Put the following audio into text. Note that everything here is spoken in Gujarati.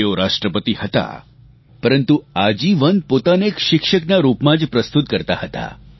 તેઓ રાષ્ટ્રપતિ હતા પરંતુ આજીવન પોતાને એક શિક્ષકના રૂપમાં જ પ્રસ્તુત કરતાં હતાં